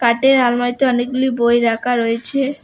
আলমারিতে অনেকগুলি বই রাখা রয়েছে।